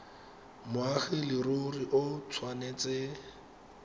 moagi wa leruri o tshwanetse